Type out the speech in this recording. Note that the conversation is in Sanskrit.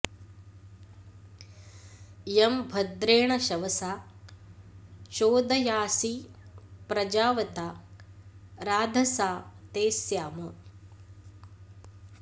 यं भ॒द्रेण॒ शव॑सा चो॒दया॑सि प्र॒जाव॑ता॒ राध॑सा॒ ते स्या॑म